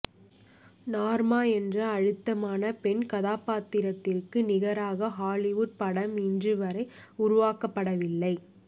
Norma என்ற அழுத்தமான பெண்கதாபாத்திரத்திற்கு நிகராக ஹாலிவுட் படம் இன்று வரை உருவாக்கபடவில்லை